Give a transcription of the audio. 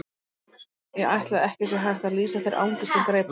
Ég ætla að ekki sé hægt að lýsa þeirri angist sem greip hann.